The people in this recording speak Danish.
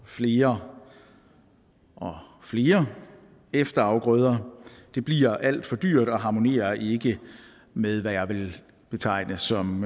flere og flere efterafgrøder det bliver alt for dyrt og harmonerer ikke med hvad jeg vil betegne som